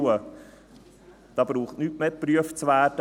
Da braucht nichts mehr geprüft zu werden;